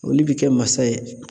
Olu bi kɛ masa ye.